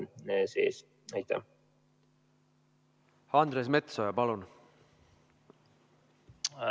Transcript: Andres Metsoja, palun!